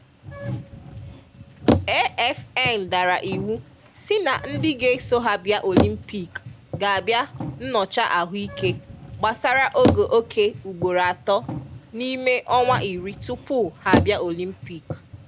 AFN dàrà ìwù sị na ndị ga-eso ha bịa Ọlympìk ga abịa nnọchà ahụìke gbasàrà ògòọkè ùgboro atọ n’ime ọnwa ìrì túpùù ha abịa Ọlympìk